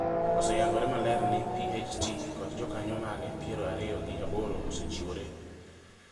oseyango maler ni PHT kod jokanyo mage piero ariyo gi aboro osechiwore